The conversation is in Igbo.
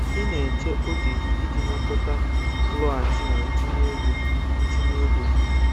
Ị na-eche oge gị iji nakọta nloghachi na ntinye ego ntinye ego gị